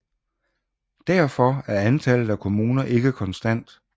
Derfor er antallet af kommuner ikke konstant